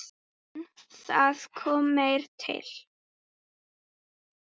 En það kom meira til.